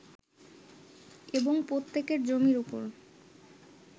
এবং প্রত্যেকের জমির ওপর